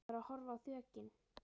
Ég var að horfa á þökin.